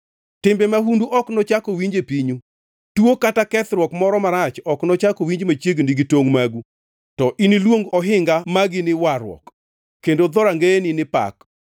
Timbe mahundu ok nochak owinji e pinyu, tuo kata kethruok moro marach ok nochak owinji machiegni gi tongʼ magu, to iniluong ohinga magi ni Warruok kendo dhorangeyeni ni Pak.